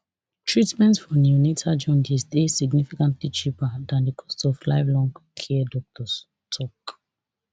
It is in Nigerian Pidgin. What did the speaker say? treatment for neonatal jaundice dey significantly cheaper dan di cost of lifelong care doctors tok